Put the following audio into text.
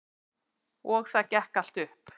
Og það gekk allt upp.